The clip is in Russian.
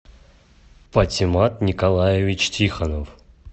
патимат николаевич тихонов